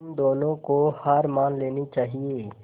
तुम दोनों को हार मान लेनी चाहियें